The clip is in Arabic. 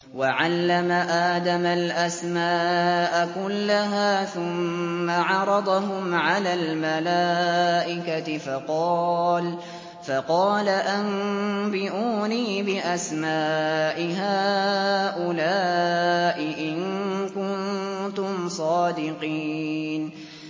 وَعَلَّمَ آدَمَ الْأَسْمَاءَ كُلَّهَا ثُمَّ عَرَضَهُمْ عَلَى الْمَلَائِكَةِ فَقَالَ أَنبِئُونِي بِأَسْمَاءِ هَٰؤُلَاءِ إِن كُنتُمْ صَادِقِينَ